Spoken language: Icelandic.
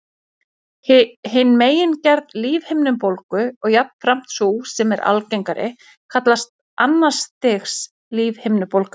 Hin megingerð lífhimnubólgu, og jafnframt sú sem er algengari, kallast annars stigs lífhimnubólga.